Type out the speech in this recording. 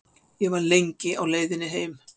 Ég var lengi á leiðinni heim.